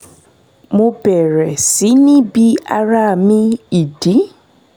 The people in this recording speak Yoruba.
mo bẹ̀rẹ̀ sí ní bi ara mi ìdí